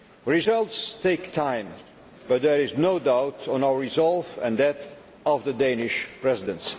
Results take time but there is no doubt of our resolve and that of the Danish Presidency.